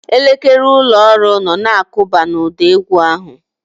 Elekere ụlọ ọrụ nọ na-akụba n'ụda égwú ahụ.